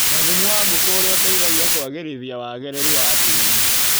na thumu wa ngũkũ ũrĩa ũteithagia kũagĩrithia wagĩrĩru wa tĩri.